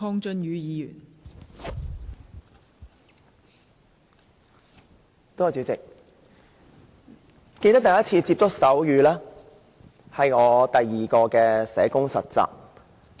代理主席，我記得第一次接觸手語，是在我第二次當實習社工期間。